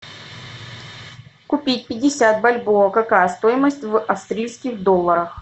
купить пятьдесят бальбоа какая стоимость в австрийских долларах